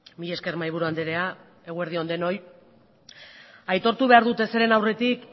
mila esker mahaiburu andrea eguerdi on denoi aitortu behar dut ezeren aurretik